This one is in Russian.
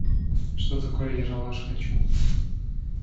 что такое ералаш хочу